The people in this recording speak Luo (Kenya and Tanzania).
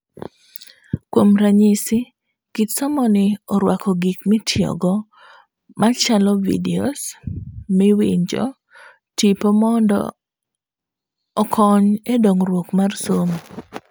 Kuom ranyisi, kit somoni oruako gik mitiyogo machalo videos, miwinjo, tipo mondo okony e dongruok mar somo.